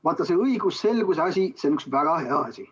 Vaata, see õigusselguse asi, see on üks väga hea asi.